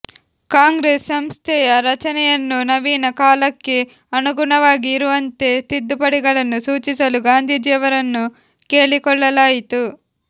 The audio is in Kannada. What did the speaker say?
ಕಾಂಗ್ರೆಸ್ ಸಂಸ್ಥೆಯ ರಚನೆಯನ್ನೂ ನವೀನ ಕಾಲಕ್ಕೆ ಅನುಗುಣವಾಗಿ ಇರುವಂತೆ ತಿದ್ದುಪಡಿಗಳನ್ನು ಸೂಚಿಸಲು ಗಾಂಧೀಜಿಯವರನ್ನು ಕೇಳಿಕೊಳ್ಳಲಾಯಿತು